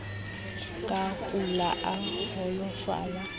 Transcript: a ka kula a holofala